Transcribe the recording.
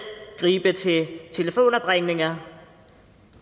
gribe til telefonopringninger